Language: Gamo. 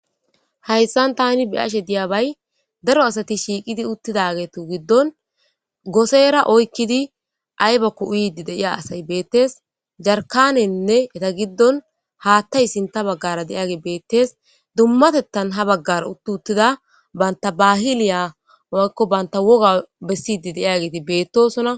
Hayisan tani biyashe diyabay daro asati shiiqidi uttidagetu giddon goseera oykkidi aybakko iidi deiya asay beettees jarkanenne eta giddon haattay sinta baggara de'iyage beettees dummatettan ha baggara utti uttida banta bahiliya akko banta woga bessidi deiageeti beettosona